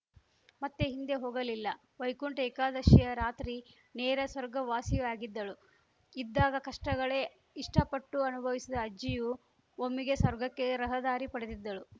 ಮತ್ತೆ ಹಿಂದೆ ಹೋಗಲಿಲ್ಲ ವೈಕುಂಠ ಏಕಾದಶಿಯ ರಾತ್ರಿ ನೇರ ಸ್ವರ್ಗವಾಸಿಯಾಗಿದ್ದಳು ಇದ್ದಾಗ ಕಷ್ಟಗಳೇ ಇಷ್ಟಪಟ್ಟು ಅನುಭವಿಸಿದ ಅಜ್ಜಿಯು ಒಮ್ಮೆಗೆ ಸ್ವರ್ಗಕ್ಕೆ ರಹದಾರಿ ಪಡೆದಿದ್ದಳು